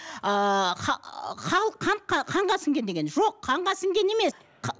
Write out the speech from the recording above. халық қанға сіңген деген жоқ қанға сіңген емес